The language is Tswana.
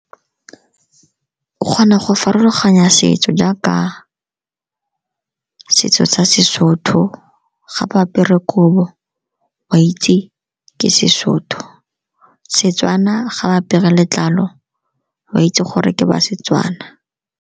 O kgona go farologanya setso jaaka setso sa seSotho, ga ba apere kobo o a itse ke seSotho. Setswana ga ba apere letlalo o a itse gore ke ba Setswana.